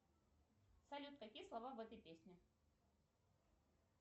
салют какие слова в этой песне